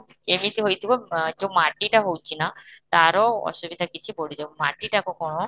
ଏମିତି ହେଇଥିବ ଅ ଯୋଉ ମାଟିଟା ହୋଉଛି ନା, ତାର ଅସୁବିଧା କିଛି ପଡି ଯାଉଥିବ ମାଟିଟା କଣ